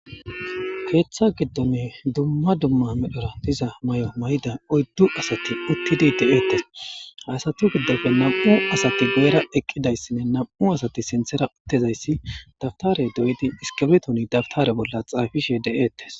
Keeththa giddonne dumma dumma medhora diza mayo mayda oyddu asati uttidi de'eettes haasati giddofe nam'u asati goera eqqidayssinne nam'u asati sinthera uttezayssi dabtare doydi iskabirtoni dabtare bolla xaafishe de'eettes